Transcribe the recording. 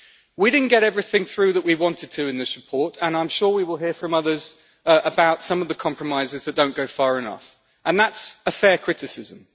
We didn't get everything through that we wanted to in this report and I'm sure we will hear from others about some of the compromises that don't go far enough, and that is a fair criticism.